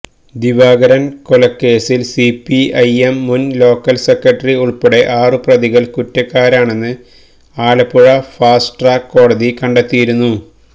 ദിവാകരന് കൊലക്കേസില് സിപിഐഎം മുന് local secretary ഉള്പ്പെടെ ആറു പ്രതികള് കുറ്റക്കാരാണെന്ന് ആലപ്പുഴ ഫാസ്റ്റ് ട്രാക്ക് കോടതി കണ്ടെത്തിയിരുന്നു